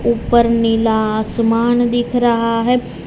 ऊपर नीला आसमान दिख रहा है।